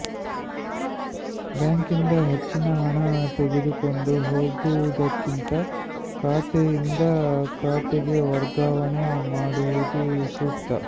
ಬ್ಯಾಂಕ್ನಿಂದ ಹೆಚ್ಚಿನ ಹಣ ತೆಗೆದುಕೊಂಡು ಹೋಗುವುದಕ್ಕಿಂತ ಖಾತೆಯಿಂದ ಖಾತೆಗೆ ವರ್ಗಾವಣೆ ಮಾಡುವುದು ಸೂಕ್ತ